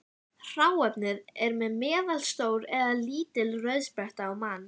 Eldstöðvar, sem gjósa líparítgjósku, falla þó inn í flokkunina.